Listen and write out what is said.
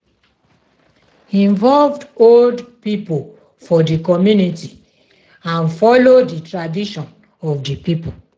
involve old pipo for di community and follow di tradition of di pipo